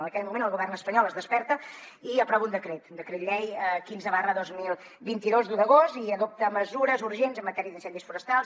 en aquell moment el govern espanyol es desperta i aprova un decret el decret llei quinze dos mil vint dos d’un d’agost i adopta mesures urgents en matèria d’incendis forestals